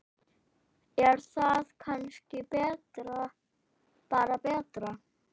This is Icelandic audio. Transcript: Er það kannski bara betra?